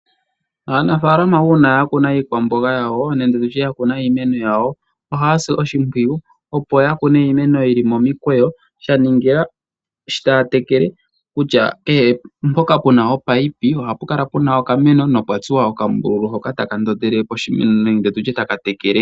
Aanafaalama mba yakuna iimeno yawo ohaya si oshimpwiyu opo ya kune iimeno yili momikweyo. Ya ningila sho taya tekele kutya kehe mpoka puna oopayipi ohapu kala puna okameno na opwa tulwa oka mbululu hoka taka ndondele poshimeno nenge tutye taka tekele.